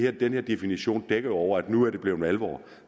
at den her definition jo dækker over at nu er det blevet alvor